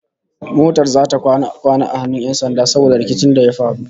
Motar zata kwana a hannun 'yan sanda saboda rikicin da ya faru